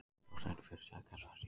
Stjórnendur fyrirtækja svartsýnir